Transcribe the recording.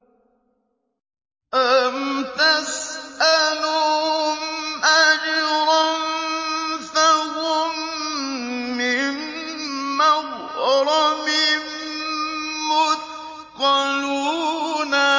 أَمْ تَسْأَلُهُمْ أَجْرًا فَهُم مِّن مَّغْرَمٍ مُّثْقَلُونَ